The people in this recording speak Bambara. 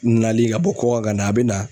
Nali ka bɔ kɔkan ka na a bɛ na